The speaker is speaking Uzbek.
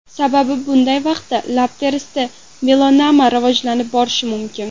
Sababi bunday vaqtda lab terisida melanoma rivojlanib borishi mumkin.